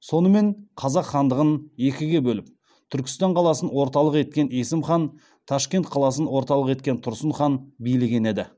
сонымен қазақ хандығын екіге бөліп түркістан қаласын орталық еткен есім хан ташкент қаласын орталық еткен тұрсын хан билеген еді